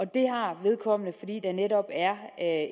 det har vedkommende fordi der netop er